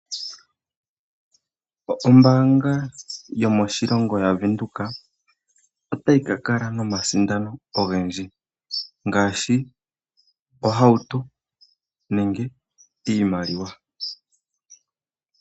Ombaanga yomoshilongo yavenduka, otayi kakala nomasindano ogendji. Ngaashi ohauto, nenge iimaliwa.